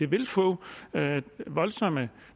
vil få voldsom